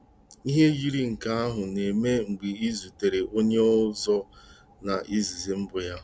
Ihe yiri nke ahụ na-eme mgbe ị zutere onye ọzọ na izizi mbụ ya.